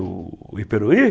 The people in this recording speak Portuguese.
O Iperuí?